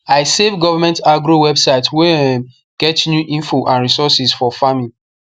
i save government agro website wey um get new info and resources for farming